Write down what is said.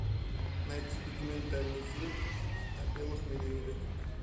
найти документальный фильм о белых медведях